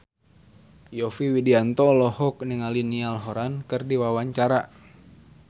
Yovie Widianto olohok ningali Niall Horran keur diwawancara